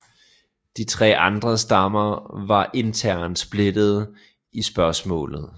De tre andre stammer var internt splittede i spørgsmålet